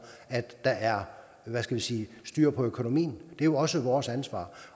at der er hvad skal vi sige styr på økonomien det er jo også vores ansvar